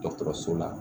Dɔgɔtɔrɔso la